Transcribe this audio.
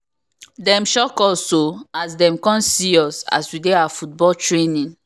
dem shock us o as dem come see us as we dey our football training